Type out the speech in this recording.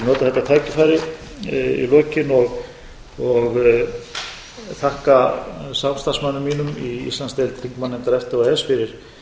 í nefndinni ég vil nota þetta tækifæri í lokin og þakka samstarfsmönnum mínum í íslandsdeild þingmannanefndar efta og e e s fyrir